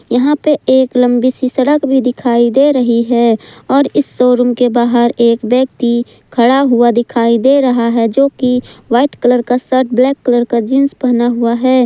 यहां पे एक लंबी सी सड़क भी दिखाई दे रही है और इस शोरूम के बाहर एक व्यक्ति खड़ा हुआ दिखाई दे रहा है जो की वाइट कलर का शर्ट ब्लैक कलर का जींस पहना हुआ है।